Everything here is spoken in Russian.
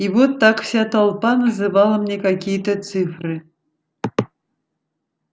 и вот так вся толпа называла мне какие-то цифры